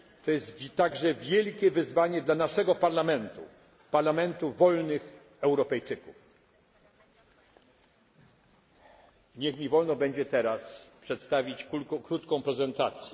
To jest także wielkie wyzwanie dla naszego Parlamentu parlamentu wolnych Europejczyków. Niech mi będzie wolno teraz przedstawić krótką prezentację.